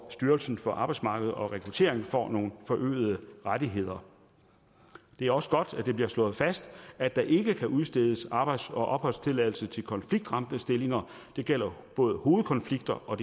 at styrelsen for arbejdsmarked og rekruttering får nogle forøgede rettigheder det er også godt at det bliver slået fast at der ikke kan udstedes arbejds og opholdstilladelse til konfliktramte stillinger og det gælder både hovedkonflikter og